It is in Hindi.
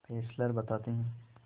फेस्लर बताते हैं